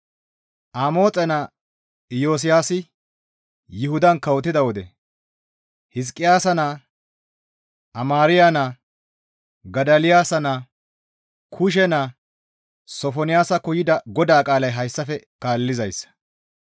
Amoxe naa Iyosiyaasi Yuhudan kawotida wode Hizqiyaasa naa, Amaariya naa, Godoliyaasa naa, Kuushe naa Sofonaasakko yida GODAA qaalay hayssafe kaallizayssa.